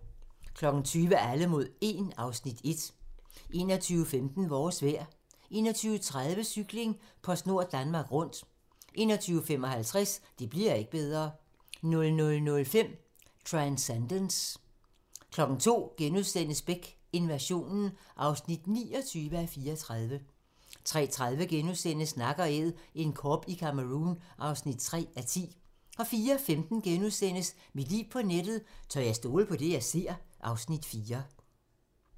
20:00: Alle mod 1 (Afs. 1) 21:15: Vores vejr 21:30: Cykling: PostNord Danmark Rundt 21:55: Det bli'r ikke bedre 00:05: Transcendence 02:00: Beck: Invasionen (29:34)* 03:30: Nak & Æd - en kob i Cameroun (3:10)* 04:15: Mit liv på nettet: Tør jeg stole på det, jeg ser? (Afs. 4)*